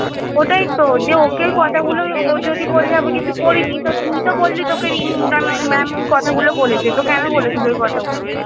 ওটাই তো যে ওকে কথাগুলো ও যদি বলচে আমি কিছু করিনি তো তুই তো বলি রিম mam কথা গুলো বলেছে তো কেন বলেছিলো ওই কথা গুলো?